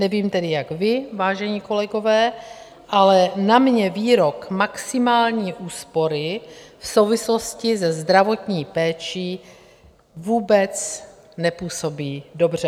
Nevím tedy jak vy, vážení kolegové, ale na mě výrok maximální úspory v souvislosti se zdravotní péčí vůbec nepůsobí dobře.